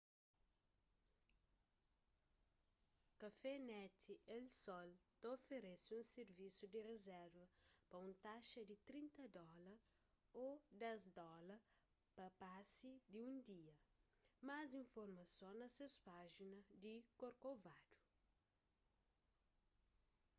cafenet el sol ta oferese un sirvisu di rizerva pa un taxa di 30 dóla ô 10 dóla pa pasi di un dia más informason na ses pájina di corcovado